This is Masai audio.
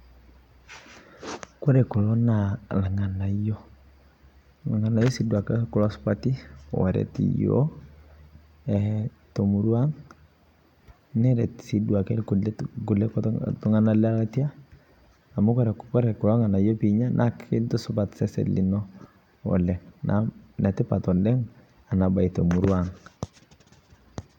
Kore kuloo naa lng'anaiyo. Lng'anaiyo duake kuo supaati oreet yoo to murua ang. Nereet sii duake nkulee ltung'ana le atia amu kore kuloo lng'anaiyo pii enyaa naa kintusupaat sesen linoo oleng. Naa netipaat oleng ena baayi te murua ang'.